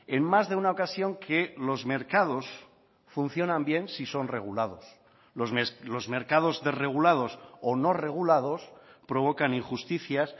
en más de una ocasión que los mercados funcionan bien si son regulados los mercados desregulados o no regulados provocan injusticias